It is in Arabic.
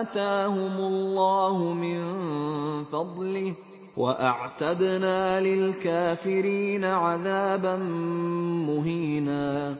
آتَاهُمُ اللَّهُ مِن فَضْلِهِ ۗ وَأَعْتَدْنَا لِلْكَافِرِينَ عَذَابًا مُّهِينًا